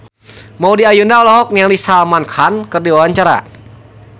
Maudy Ayunda olohok ningali Salman Khan keur diwawancara